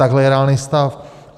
Tohle je reálný stav.